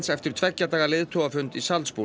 eftir tveggja daga leiðtogafund í